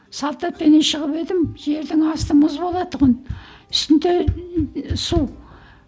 салт атпенен шығып едім жердің асты мұз болатын тұғын үстінде су